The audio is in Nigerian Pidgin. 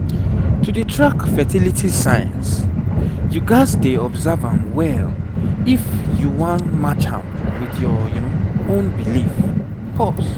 to dey track fertility signs you gats dey observe am well if you wan match am with your own belief pause